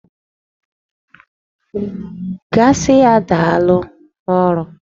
Gaa sị ya daalụ ọrụ!